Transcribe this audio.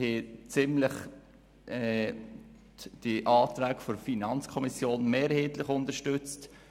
Die Anträge der FiKo haben wir mehrheitlich unterstützt.